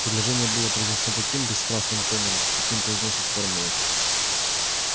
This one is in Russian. предложение было произнесено таким бесстрастным тоном каким произносят формулы